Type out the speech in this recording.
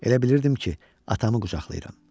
Elə bilirdim ki, atamı qucaqlayıram.